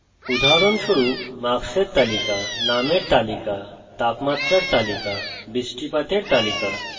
উদাহরণস্বরূপ marks তালিকা names তালিকা তাপমাত্রার তালিকা বৃষ্টিপাতের তালিকা